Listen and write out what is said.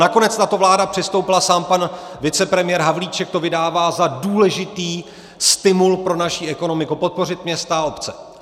Nakonec na to vláda přistoupila, sám pan vicepremiér Havlíček to vydává za důležitý stimul pro naši ekonomiku, podpořit města a obce.